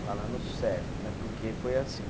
Falando certo né, porque foi assim.